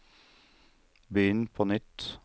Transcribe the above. begynn på nytt